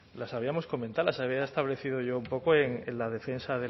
las habíamos comentado las había establecido yo un poco en la defensa